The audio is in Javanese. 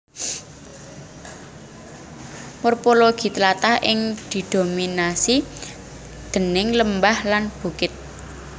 Morpologi tlatah iki didominasi déning lembah lan bukit